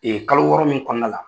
Ee kalo wɔɔrɔ min kɔnɔna la